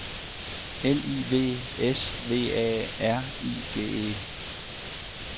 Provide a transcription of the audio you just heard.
L I V S V A R I G E